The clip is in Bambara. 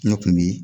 Ne kun bi